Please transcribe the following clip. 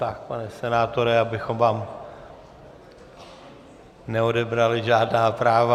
Tak pane senátore, abychom vám neodebrali žádná práva.